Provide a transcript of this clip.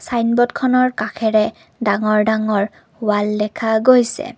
ছাইনব'ৰ্ডখনৰ কাষেৰে ডাঙৰ ডাঙৰ ৱাল দেখা গৈছে।